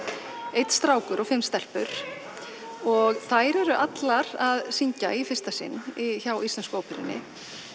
einn strákur og fimm stelpur og þær eru allar að syngja í fyrsta sinn hjá Íslensku óperunni